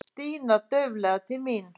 Stína dauflega til mín.